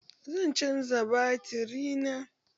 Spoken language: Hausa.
Zan canja baturi na